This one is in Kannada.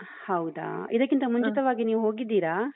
ಹೌದಾ ಇದಕ್ಕಿಂತ ಮುಂಚಿತವಾಗಿ ನೀವು ಹೋಗಿದ್ದೀರಾ?